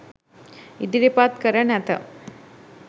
ඉදිරිපත් කර නැත.